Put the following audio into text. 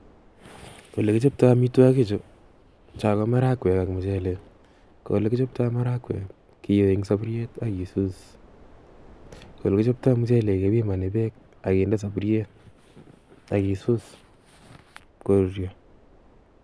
Ole kichaptoy amitwogik chu, cho ko marakwek ak Michele. Ko Ole kichaptoy marakwek kiyoi eng sapuriet agesus, olekichoptoy michelek kepimani peek agende sapuriet agesus koruryo.